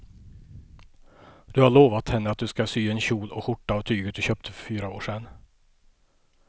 Du har lovat henne att du ska sy en kjol och skjorta av tyget du köpte för fyra år sedan.